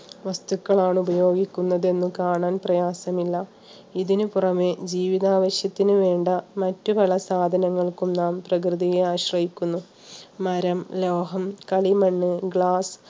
വസ്തുക്കളാണ് ഉപയോഗിക്കുന്നത് എന്നും കാണാൻ പ്രയാസമില്ല. ഇതിന് പുറമേ ജീവിതാവശ്യത്തിന് വേണ്ട മറ്റുപല സാധനങ്ങൾക്കും നാം പ്രകൃതിയെ ആശ്രയിക്കുന്നു. മരം, ലോഹം, കളിമണ്ണ് glass